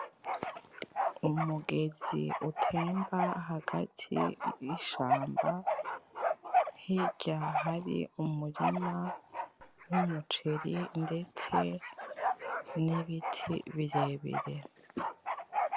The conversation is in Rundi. Umugezi utemba hagati yishamba, hirya hari umurima w'umuceri ndetse n'ibiti birebire.